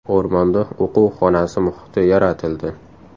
O‘rmonda o‘quv xonasi muhiti yaratildi.